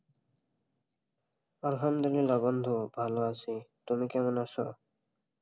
আলহামদুল্লিলাহ বন্ধু ভালো আছি? তুমি কেমন আছো?